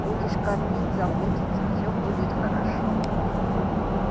будешь кормить заботиться все будет хорошо